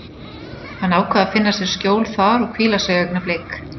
Hann ákvað að finna sér skjól þar og hvíla sig augnablik.